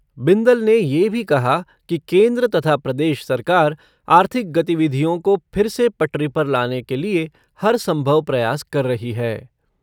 बिंदल ने ये भी कहा कि केन्द्र तथा प्रदेश सरकार आर्थिक गतिविधियों को फिर से पटरी पर लाने के लिए हर सम्भव प्रयास कर रही है।